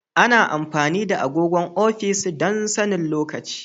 Ana amfani da agogon ofis don sanin lokaci.